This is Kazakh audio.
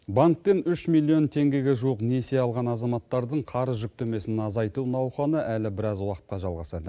банктен үш миллион теңгеге жуық несие алған азаматтардың қарыз жүктемесін азайту науқаны әлі біраз уақытқа жалғасады